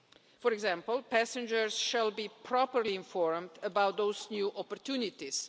For example, passengers shall be properly informed about those new opportunities.